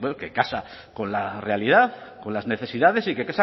que casa con la realidad con las necesidades y que